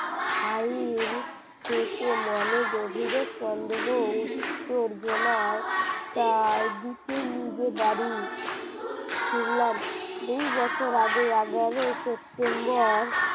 File মনে গভীরে সন্দেহ উত্তর বোনায় তাই দিকে নিজে বাড়ি ফিরলাম দুই বছর আগে এগারোয় september